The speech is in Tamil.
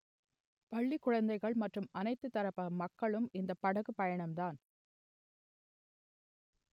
பள்ளி குழந்தைகள் மற்றும் அனைத்து தரப்பு மக்களும் இந்த படகு பயணம்தான்